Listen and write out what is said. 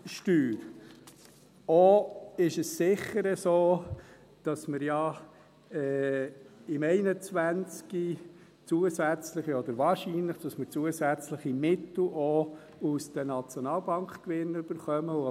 Auch ist es sicher so, dass wir ja im Jahr 2021 wahrscheinlich zusätzliche Mittel aus den Nationalbankgewinnen erhalten.